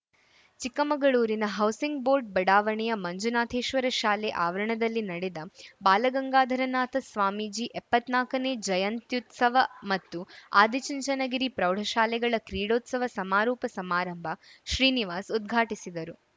ಚಿಕ್ಕಮಗಳೂರಿನ housing board ಬಡಾವಣೆಯ ಮಂಜುನಾಥೇಶ್ವರ ಶಾಲೆ ಆವರಣದಲ್ಲಿ ನಡೆದ ಬಾಲಗಂಗಾಧರನಾಥ ಸ್ವಾಮೀಜಿ ಎಪ್ಪತ್ನಾಕನೇ ಜಯಂತ್ಯುತ್ಸವ ಮತ್ತು ಆದಿಚುಂಚನಗಿರಿ ಪ್ರೌಢಶಾಲೆಗಳ ಕ್ರೀಡೋತ್ಸವ ಸಮಾರೋಪ ಸಮಾರಂಭ ಶ್ರೀನಿವಾಸ್‌ ಉದ್ಘಾಟಿಸಿದರು